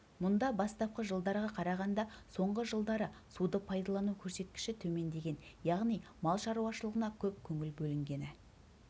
мұнда бастапқы жылдарға қарағанда соңғы жылдары суды пайдалану көрсеткіші төмендеген яғни мал шаруашылығына көп көңіл бөлінгені